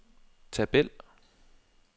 tabel